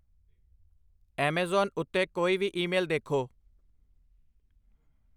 Amazon ਉੱਤੇ ਕੋਈ ਵੀ ਈਮੇਲ ਦੇਖੋ।